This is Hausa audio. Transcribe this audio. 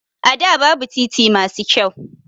A da babu titi masu kyau